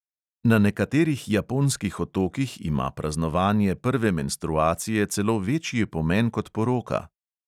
Na nekaterih japonskih otokih ima praznovanje prve menstruacije celo večji pomen kot poroka.